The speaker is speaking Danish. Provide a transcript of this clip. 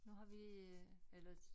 Nu har vi øh eller